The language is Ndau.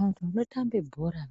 Antu anotambe bhora